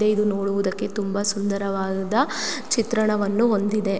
ದೆ ಇದು ನೋಡುವುದಕ್ಕೆ ತುಂಬಾ ಸುಂದರವಾದ ಚಿತ್ರಣವನ್ನು ಹೊಂದಿದೆ.